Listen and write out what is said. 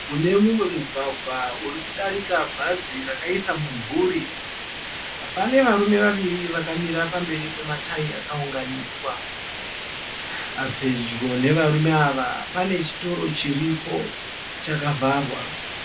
Mune mumwe mugwagwa uri kudarika bhazi rakaisa mumvuri. Pane varume vaviri vakamira pamberi pematayi akaunganidzwa. Pedyo nevarume ava pane chitoro chiripo chakavharwa.